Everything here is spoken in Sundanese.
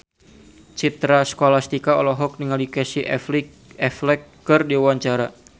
Citra Scholastika olohok ningali Casey Affleck keur diwawancara